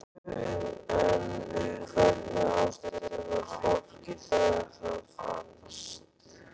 En í hvernig ástandi var fólkið þegar það fannst?